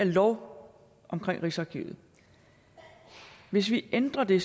loven om rigsarkivet hvis vi ændrer det